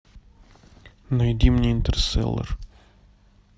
найди мне интерстеллар